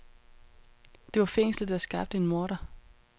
Det var fængslet, der skabte en morder.